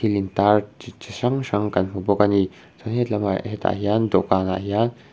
thil intar chi chi hrang hrang kan hmu bawk a ni chuan he tlamah hetah hian dawhkanah hian--